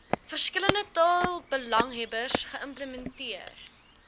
verskillende taalbelanghebbers geïmplementeer